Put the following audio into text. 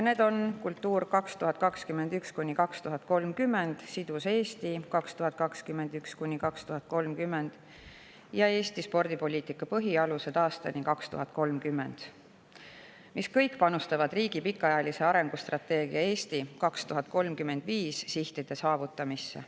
Need on "Kultuur 2030", "Sidusa Eesti arengukava 2021–2030" ja "Eesti spordipoliitika põhialused aastani 2030", ning nad kõik panustavad riigi pikaajalise arengustrateegia "Eesti 2035" sihtide saavutamisse.